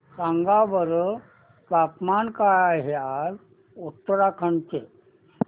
सांगा बरं तापमान काय आहे आज उत्तराखंड चे